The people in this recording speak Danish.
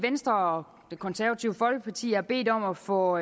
venstre og det konservative folkeparti har bedt om at få